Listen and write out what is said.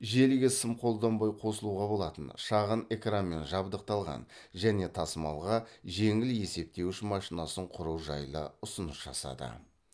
желіге сым қолданбай қосылуға болатын шағын экранмен жабдықталған және тасымалға жеңіл есептеуіш машинасын құру жайлы ұсыныс жасады